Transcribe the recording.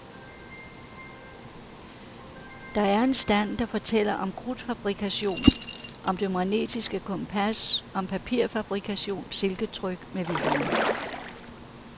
Der er en stand, der fortæller om krudtfabrikation, om det magnetiske kompas, om papirfabrikation, silketryk med videre.